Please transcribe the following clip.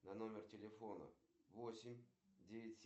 сбер текущий курс валют